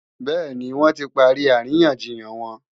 Bẹ́ẹ̀ni, wọ́n ti parí àríyànjiyàn wọn